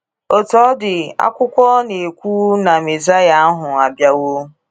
Otú ọ dị ,akwụkwo na - ekwu na Mezaịa ahụ abịawo.